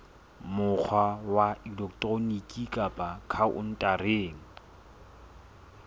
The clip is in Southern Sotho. mokgwa wa elektroniki kapa khaontareng